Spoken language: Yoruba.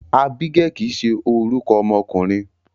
Ábígẹ́lì kìí ṣe orúkọ ọmọkùnrin.